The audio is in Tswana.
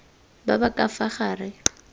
ba ba ka fa gare